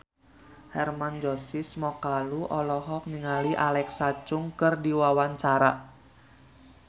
Hermann Josis Mokalu olohok ningali Alexa Chung keur diwawancara